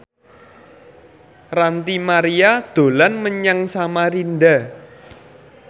Ranty Maria dolan menyang Samarinda